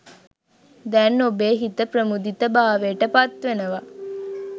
දැන් ඔබේ හිත ප්‍රමුදිත භාවයට පත්වෙනවා.